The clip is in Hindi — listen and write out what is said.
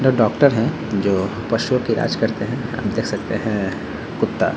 दो डॉक्टर है जो पशुओं के इलाज करते हैं आप देख सकते हैं कुत्ता --